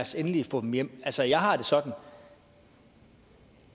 os endelig få dem hjem altså jeg har det sådan